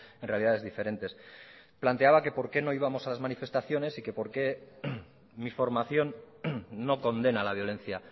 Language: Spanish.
en realidades diferentes planteaba que por qué no íbamos a las manifestaciones y que por qué mi formación no condena la violencia